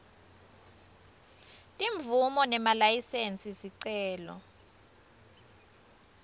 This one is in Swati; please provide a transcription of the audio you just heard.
timvumo nemalayisensi sicelo